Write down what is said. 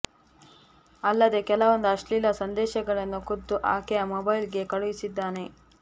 ಅಲ್ಲದೆ ಕೆಲವೊಂದು ಅಶ್ಲೀಲ ಸಂದೇಶಗಳನ್ನು ಖುದ್ದು ಆಕೆಯ ಮೊಬೈಲ್ ಗೆ ಕಳುಹಿಸಿದ್ದಾನೆ